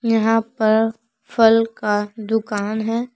यहां पर फल का दुकान है।